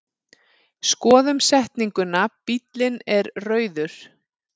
Skoðum setninguna bíllinn er rauður.